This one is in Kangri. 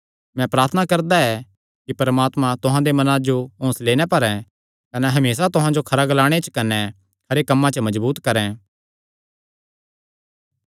मैं प्रार्थना करदा ऐ कि परमात्मा तुहां दे मनां जो हौंसले नैं भरैं कने हमेसा तुहां जो खरा ग्लाणे च कने खरे कम्मां च मजबूत करैं